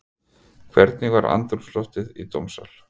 Hvernig var andrúmsloftið í dómssal?